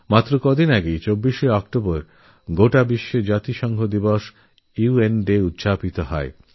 এই তো কয়েক দিন আগে ২৪শে অক্টোবর সারা বিশ্বে ইউ এন ডে সংযুক্তরাষ্ট্র দিবস পালন করা হল